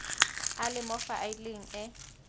a le mo faeleng e